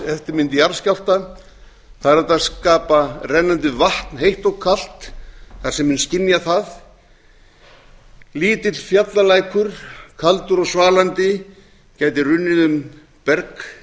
eftirmynd jarðskjálfta það er hægt að skapa rennandi vatn heitt og kalt þar sem menn skynja það lítill fjallalækur kaldur og svalandi gæti runnið um berg